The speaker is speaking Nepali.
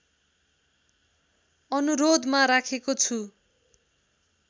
अनुरोधमा राखेको छु